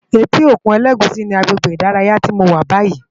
Éti ókún Elegushi ni àgbégbé idàráyá ti mó wà bàyí